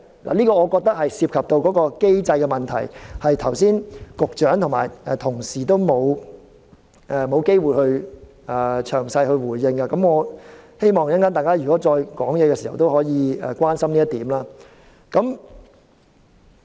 我認為這涉及機制的問題，剛才局長和同事都沒有機會詳細回應，我希望大家稍後發言時可以關心這一點。